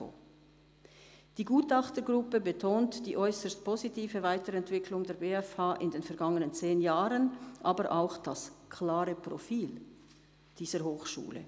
«Die Gutachtergruppe betont die äusserst positive Weiterentwicklung der BFH in den vergangenen zehn Jahren, aber auch das klare Profil dieser Hochschule.